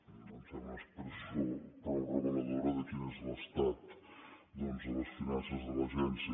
em sembla una expressió prou reveladora de quin és l’estat doncs de les finances de l’agència